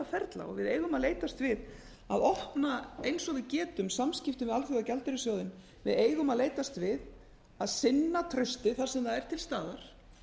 ferla og við eigum að leitast við að opna eins og við getum samskiptin við alþjóðagjaldeyrissjóðinn við eigum að leitast við að finna traustið þar sem það er til staðar